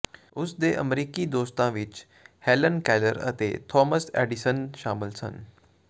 ਉਸ ਦੇ ਅਮਰੀਕੀ ਦੋਸਤਾਂ ਵਿਚ ਹੈਲਨ ਕੈਲਰ ਅਤੇ ਥਾਮਸ ਐਡੀਸਨ ਸ਼ਾਮਲ ਸਨ